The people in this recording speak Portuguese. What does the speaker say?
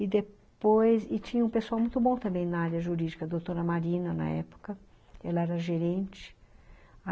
E depois, e tinha um pessoal muito bom também na área jurídica, a doutora Marina, na época, ela era gerente.